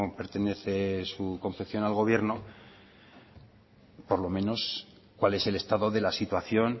pertenece su confección al gobierno por lo menos cuál es el estado de la situación